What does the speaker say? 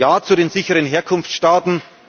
Ja zu den sicheren Herkunftsstaaten.